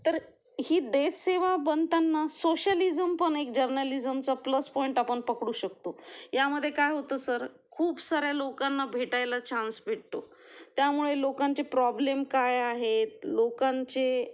तर ही देश सेवा बनताना सोशलिझम पण एक जर्नलिझमचा प्लस पॉइंट आपण पकडू शकतो यामध्ये काय होतं सर खूप साऱ्या लोकांना भेटायला चान्स भेटतो त्यामुळे लोकांचे प्रॉब्लेम काय आहेत, लोकांचे